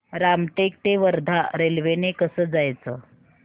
रामटेक ते वर्धा रेल्वे ने कसं जायचं